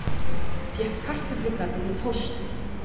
Fékk kartöflugarðinn í pósti